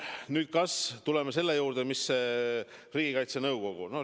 Nüüd tuleme Riigikaitse Nõukogu juurde.